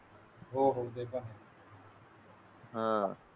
हो हो ते पण आहे. हां